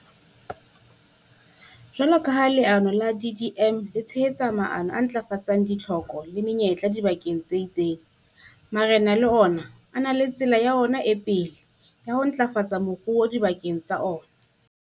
Jwalo ka ha leano la DDM le tshehetsa maano a ntlafatsang ditlhoko le menyetla dibakeng tse itseng, marena le ona a na le tsela ya ona e pele ya ho ntlafatsa moruo dibakeng tsa ona.